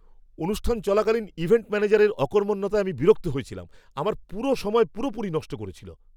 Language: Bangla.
অনুষ্ঠান চলাকালীন ইভেন্ট ম্যানেজারের অকর্মণ্যতায় আমি বিরক্ত হয়েছিলাম। আমার সময় পুরোপুরি নষ্ট করেছিল।